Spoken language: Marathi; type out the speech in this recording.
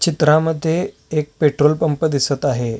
चित्रामद्धे एक पेट्रोल पंप दिसत आहे.